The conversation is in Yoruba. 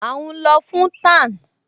À ún lọ fún tan